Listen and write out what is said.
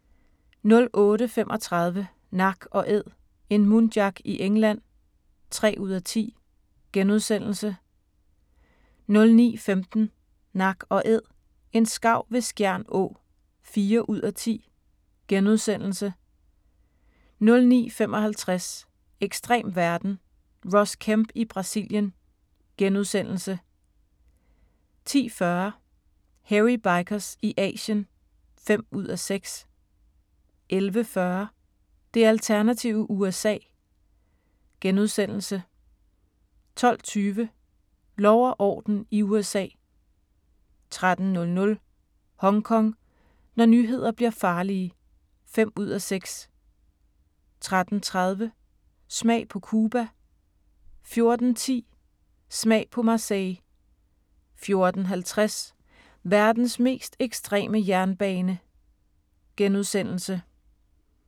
08:35: Nak & æd - en muntjac i England (3:10)* 09:15: Nak & Æd – en skarv ved Skjern Å (4:10)* 09:55: Ekstrem verden – Ross Kemp i Brasilien * 10:40: Hairy Bikers i Asien (5:6) 11:40: Det alternative USA * 12:20: Lov og orden i USA 13:00: Hongkong: Når nyheder bliver farlige (5:6) 13:30: Smag på Cuba 14:10: Smag på Marseille 14:50: Verdens mest ekstreme jernbane *